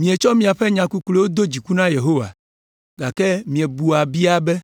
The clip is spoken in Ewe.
Mietsɔ miaƒe nya kukluiwo do dziku na Yehowa. Gake miebua biae be,